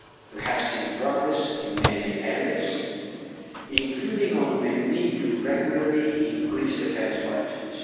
We have seen progress in many areas, including on the need to regularly increase defence budgets.